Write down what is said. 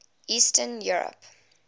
eastern europe